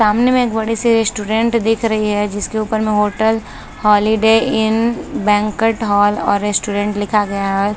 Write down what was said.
सामने मे एक बड़े से रेस्टोरेंट दिख रही है जिसके ऊपर में hotel Holiday Inn banquet hall और रेस्टोरेंट लिखा गया है।